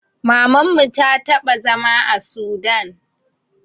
Mamanmu ta taɓa zama a sudan